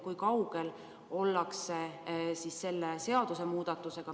Kui kaugel ollakse nende seaduste muutmisega?